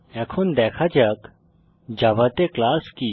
এখন দেখা যাক জাভাতে ক্লাস কি